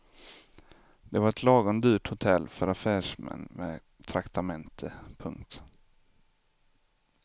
Det var ett lagom dyrt hotell för affärsmän med traktamente. punkt